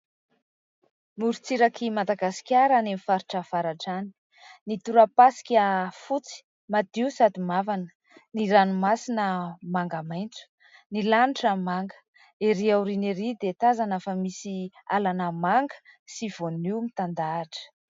Morontsirak'i Madagasikara any amin'ny faritra avaratra any, ny tora-pasika fotsy madio sady mavana, ny ranomasina manga maitso, ny lanitra manga, erỳ aoriana erỳ dia tazana fa misy alana manga sy vonio mitandahatra.